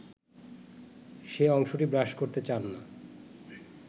সে অংশটি ব্রাশ করতে চান না